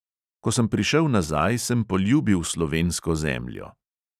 Ko sem prišel nazaj, sem poljubil slovensko zemljo.